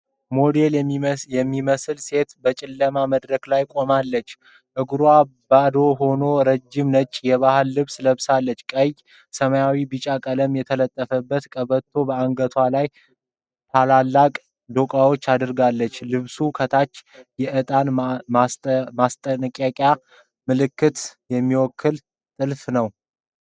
ሞዴል የሚመስል ሴት በጨለማ መድረክ ላይ ቆማለች። እግሯ ባዶ ሆኖ፣ ረጅም ነጭ የባህል ልብስ ለብሳለች። በቀይ፣ ሰማያዊና ቢጫ ቀለም የተጠለፈ ቀበቶና በአንገቷ ላይ ትላልቅ ዶቃዎች አድርጋለች። ልብሱ ከታች የዕጣን ማስጠንቀቂያ ምልክት የሚመስል ጥልፍ አለው።